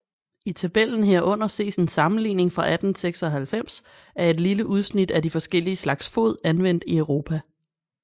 I tabellen herunder ses en sammenligning fra 1896 af et lille udsnit af de forskellige slags fod anvendt i Europa